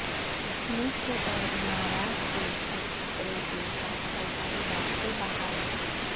مصر اور امارات کے بھی قطر کے ساتھ فضائی رابطے بحال